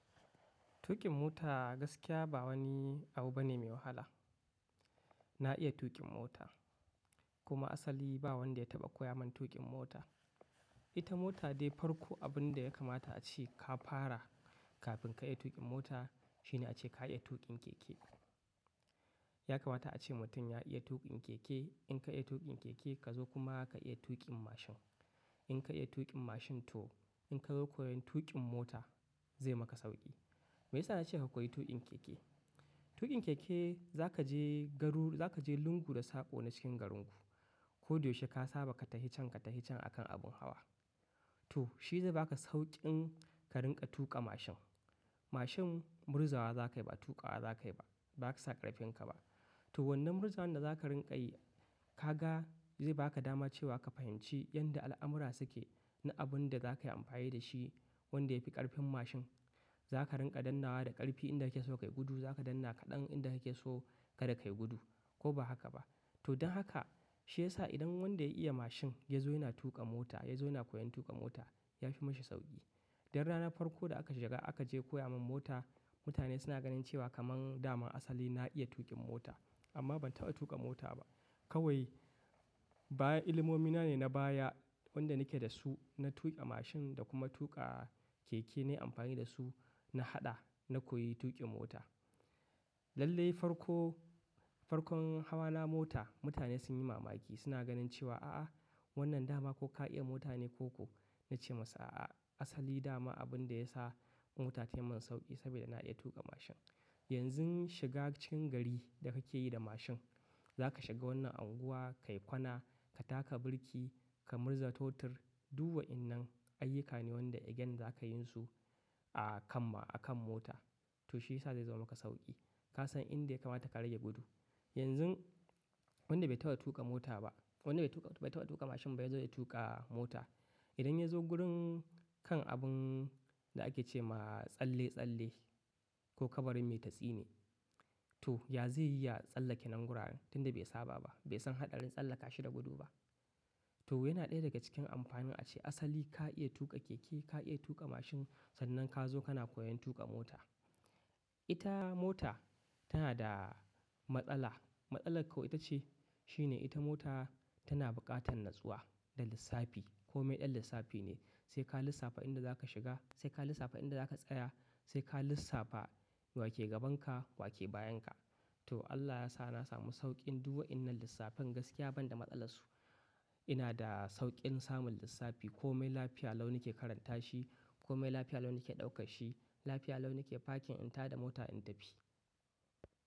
Tuƙin mota gaskiya ba wani abu bane mai wahala. Na iya tuƙin mota kuma asali ba wanda ya taɓa koya man tuƙin mota. Ita mota dai farko abun da ya kamata a ce ka fara kafin ka iya tuƙin mota shine a ce ka iya tuƙin keke. Ya kamata a ce mutum ya iya tuƙin keke. In ka iya tuƙin keke ka zo kuma ka iya tuƙin mashin. In ka iya tuƙin mashin to in ka zo koyan tuƙin mota zai maka sauƙi. Meyasa na ce ka koyi tuƙin keke? Tuƙin keke za ka je garu, za ka je lungu da saƙo na cikin garinku ko dai shi ka saba katahican katahican akan abin hawa. To shi zai baka sauƙin ka rinƙa tuƙa mashin. Mashin murzawa za ka yi ba, tuƙawa za ka yi ba, ba za ka sa ƙarfin ka ba. To wannan murzan da za ka rinƙa yi ka ga zai baka dama cewa ka fahimci yadda al'amura suke na abun da za ka yi amfani da shi wanda ya fi ƙarfin mashin. Za ka rinƙa dannnawa da ƙarfi inda yake so kai gudu, za ka danna kaɗan inda yake so kada kai gudu ko ba haka ba. To don haka shi ya sa idan wanda ya iya mashin ya zo yana tuƙa mota, ya zo yana koyon tuƙa mota ya fi mashi sauƙi. Don ranar farko da aka shiga aka je koya man mota mutane suna ganin cewa kaman daman asali na iya tuƙin mota amma ban taɓa tuƙa mota ba. Kawai bayan ilimomi na ne na baya wanda nake da su na tuƙa mashin da kuma tuƙa keke na yi amfani da su na haɗa na koyi tuƙin mota. Lallai farko-farkon hawa na mota mutane sun yi mamaki suna ganin cewa a a wannan dama ko ka iya mota ne ko ku. Na ce masa a a asali dama abun da ya sa Don ranar farko da aka shiga aka je koya man mota mutane suna ganin cewa kaman daman asali na iya tuƙin mota amma ban taɓa tuƙa mota ba. Yanzu shiga cikin gari da kake yi da mashin za ka shiga wannan unguwa, ka yi kwana, ka taka birki, ka murza totur, duk wa'innan ayyuka ne wanda again zaka yin su a kan ma, a kan mota. To shi ya sa zai zama maka sauƙi. Ka san inda ya kamata ka rage gudu. Yanzu wanda bai taɓa tuƙa mota ba, wanda bai tuƙa-bai taɓa tuƙa mashin ba ya zo ya tuƙa mota idan ya zo wurin kan abun da ake ce ma tsalle-tsalle ko kabarin mai ta tsine to ya zai iya tsallake nan guraren tunda bai saba ba, bai san haɗarin tsallaka shi da gudu ba. To yana ɗaya daga cikin amfanin a ce asali ka iya tuƙa keke, ka iya tuƙa mashin sannan ka zo kana koyan tuƙa mota. Ita mota tana da matsala. Matsalar kau ita ce shine ita mota tana buƙatan natsuwa da lissafi. Komai ɗan lissafi ne. Sai ka lissafa inda za ka shiga, sai ka lissafa inda za ka tsaya, sai ka lissafa wa ke gaban ka, wa ke bayan ka. To Allah ya sa na samu sauƙin duk wa'innan lissafin gaskiya ban da matsala su. Ina da sauƙin samun lissafi komai lafiya lau nike karanta shi, komai lafiya lau nike ɗaukar shi, lafiya lau nike fakin in tada mota in tafi.